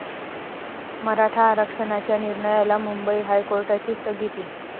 मराठा आरक्षणाच्या निर्णयाला मुंबई हायकोर्टाची स्थगिती